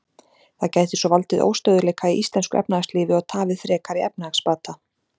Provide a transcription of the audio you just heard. Það gæti svo valdið óstöðugleika í íslensku efnahagslífi og tafið frekari efnahagsbata.